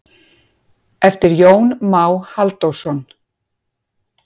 eftir jón má halldórsson